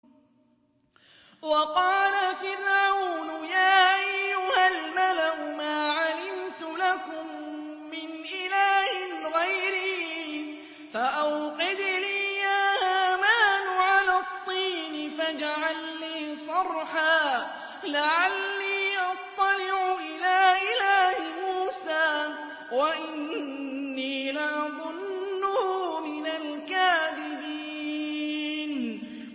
وَقَالَ فِرْعَوْنُ يَا أَيُّهَا الْمَلَأُ مَا عَلِمْتُ لَكُم مِّنْ إِلَٰهٍ غَيْرِي فَأَوْقِدْ لِي يَا هَامَانُ عَلَى الطِّينِ فَاجْعَل لِّي صَرْحًا لَّعَلِّي أَطَّلِعُ إِلَىٰ إِلَٰهِ مُوسَىٰ وَإِنِّي لَأَظُنُّهُ مِنَ الْكَاذِبِينَ